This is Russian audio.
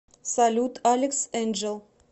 салют алекс энджэл